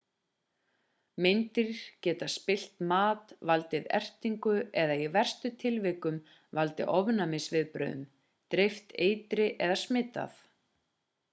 meindýr geta spillt mat valdið ertingu eða í verstu tilvikum valdið ofnæmisviðbrögðum dreift eitri eða smitað